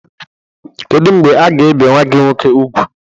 Kedụ mgbe aga-ebe nwa gi nwọke ùgwú?